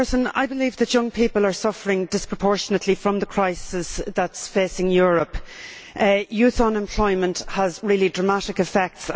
I believe that young people are suffering disproportionately from the crisis that is facing Europe. Youth unemployment has really dramatic effects.